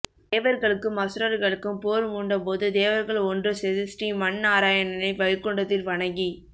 தேவர்களுக்கும் அசுரர்களுக்கும் போர் மூண்டபோது தேவர்கள் ஒன்று சேர்ந்து ஸ்ரீமந்நாராயணனை வைகுண்டத்தில் வணங்கி